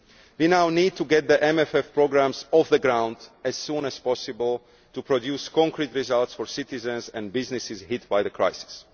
We now need to get the MFF programmes off the ground as soon as possible to produce concrete results for citizens and businesses hit by the crisis.